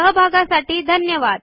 सहभागासाठी धन्यवाद